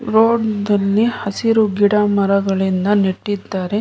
Road ದಲ್ಲಿ ಹಸಿರು ಗಿಡ ಮರಗಳಿಂದ ನೆಟ್ಟಿದ್ದಾರೆ.